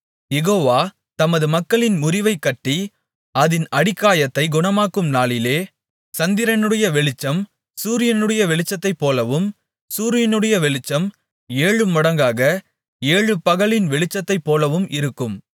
யெகோவா தமது மக்களின் முறிவைக் கட்டி அதின் அடிக்காயத்தைக் குணமாக்கும் நாளிலே சந்திரனுடைய வெளிச்சம் சூரியனுடைய வெளிச்சத்தைப்போலவும் சூரியனுடைய வெளிச்சம் ஏழமடங்காக ஏழு பகலின் வெளிச்சத்தைப்போலவும் இருக்கும்